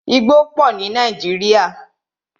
Igbó pọ ní Nàíjírìa.